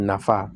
Nafa